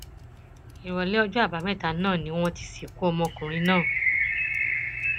ìrọlẹ ọjọ àbámẹta náà ni wọn ti sìnkú ọmọkùnrin náà